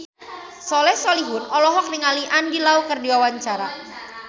Soleh Solihun olohok ningali Andy Lau keur diwawancara